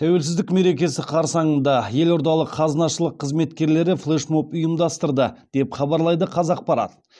тәуелсіздік мерекесі қарсаңында елордалық қазынашылық қызметкерлері флешмоб ұйымдастырды деп хабарлайды қазақпарат